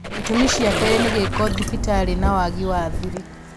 itũmi cia keerĩ nĩ gĩko thibitarĩ, na waagi wa thiri